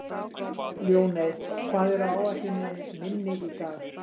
Ljóney, hvað er á áætluninni minni í dag?